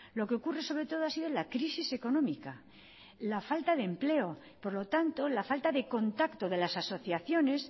lo que ocurre sobre todo ha sido la crisis económica la falta de empleo por lo tanto la falta de contacto de las asociaciones